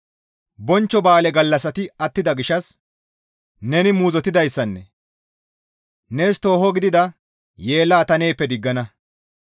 «Bonchcho ba7aale gallassati attida gishshas neni muuzottidayssanne, nees tooho gidida yeellaa ta neeppe diggana.